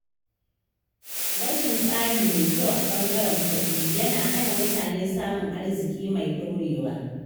Rashin tsari mai kyau a ɓangaren kuɗi yana hana mutane samun arziƙi mai ɗorewa.